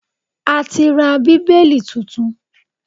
A ti ra Bíbélì tuntun